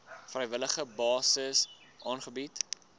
vrywillige basis aangebied